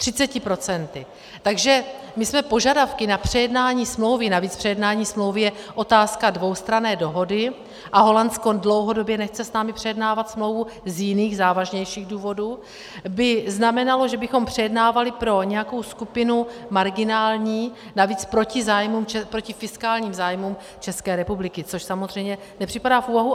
Takže my jsme požadavky na přejednání smlouvy, navíc přejednání smlouvy je otázka dvoustranné dohody a Holandsko dlouhodobě nechce s námi přejednávat smlouvu z jiných, závažnějších důvodů, by znamenalo, že bychom přejednávali pro nějakou skupinu marginální, navíc proti fiskálním zájmům České republiky, což samozřejmě nepřipadá v úvahu.